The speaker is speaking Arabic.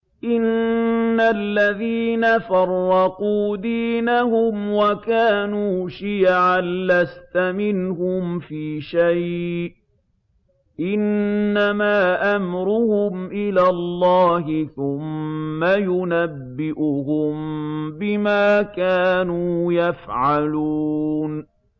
إِنَّ الَّذِينَ فَرَّقُوا دِينَهُمْ وَكَانُوا شِيَعًا لَّسْتَ مِنْهُمْ فِي شَيْءٍ ۚ إِنَّمَا أَمْرُهُمْ إِلَى اللَّهِ ثُمَّ يُنَبِّئُهُم بِمَا كَانُوا يَفْعَلُونَ